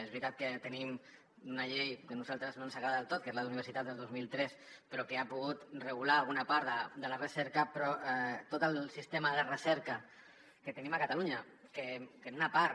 és veritat que tenim una llei que a nosaltres no ens agrada del tot que és la d’universitats del dos mil tres però que ha pogut regular alguna part de la recerca però tot el sistema de recerca que tenim a catalunya que en una part